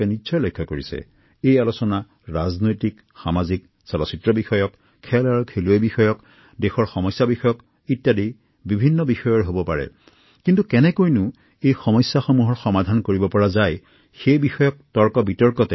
তেওঁলোকে প্ৰমাণ কৰিছে যে কিবা এটি কৰি দেখুওৱাৰ হাবিয়াস থাকিলে অথবা লক্ষ্যত উপনীত হোৱাৰ দৃঢ়তা থাকিলে যিকোনো বাধা নেওচি সফলতা অৰ্জন কৰিব পাৰি